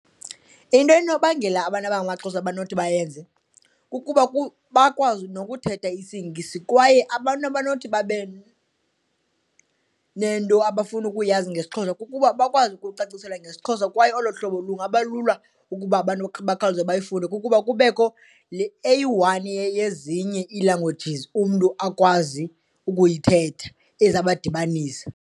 Into enobangela abantu abangamaXhosa abanothi bayenze kukuba bakwazi nokuthetha isiNgesi kwaye abantu abanothi babe nento abafuna ukuyazi ngesiXhosa kukuba bakwazi ukucaciselwa ngesiXhosa. Kwaye olo hlobo lungaba lula ukuba abantu bakhawuleze bayifunde kukuba kubekho le eyi-one yezinye ii-languages umntu akwazi ukuyithetha ezawubadibanisa.